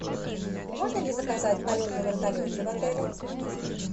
можно ли заказать полет на вертолете в отеле